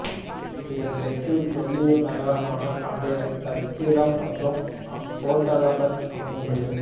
இதன் தெற்கில் தொல்லியல் நகரமானபண்டைய தட்சசீலம் மற்றும் அப்போட்டாபாத் அமைந்துள்ளது